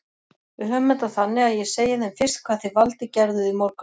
Við höfum þetta þannig að ég segi þeim fyrst hvað þið Valdi gerðuð í morgun.